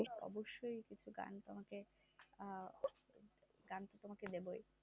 অবশ্যই কিছু গান তোমাকে আহ গান তো তোমাকে দেবই।